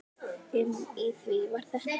Inni í því var þetta.